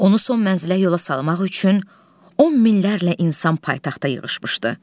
Onu son mənzilə yola salmaq üçün on minlərlə insan paytaxta yığışmışdı.